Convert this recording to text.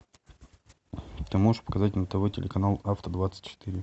ты можешь показать на тв телеканал авто двадцать четыре